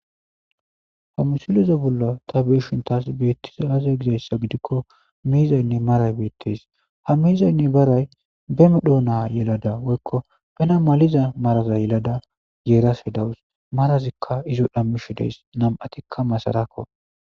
Ha musuliza bolla ta beeshintas beettizaaze gizayssa gidikko miizaynne maray beettes ha miizaynne baray be medho na yelada woykko bena maliza maraza yelada yeerase dawus marazikka izo dhammishi deys nam'atikka masarakko.